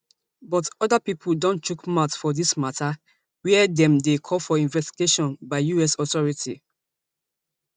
but oda pipo don chook mouth for dis mata wia dem dey call for investigation by us authorities